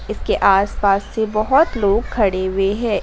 के आसपास से बहोत लोग खड़े हुए हैं।